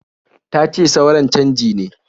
Tace suran canji ne.